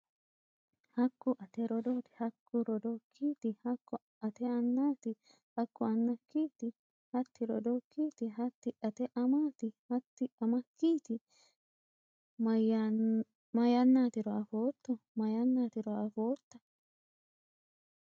Hakku ate rodooti? Hakku rodookiti? Hakku ate annaati? Hakku anaakiti? Hatti rodookiti? Hati ate amaati? Hatti amaakiti? Maayannatiro affoto? Maayannatiro affota?